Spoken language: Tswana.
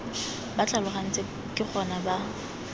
ba tlhalogantse ke gona ba